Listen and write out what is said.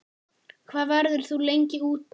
Hvað verður þú lengi úti?